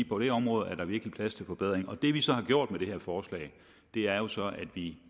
på det område er der virkelig plads til forbedring og det vi så har gjort med det her forslag er jo så at vi